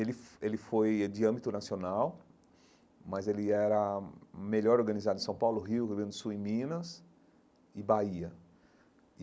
Ele ele foi de âmbito nacional, mas ele era melhor organizado em São Paulo, Rio, Rio Grande do Sul e Minas e Bahia.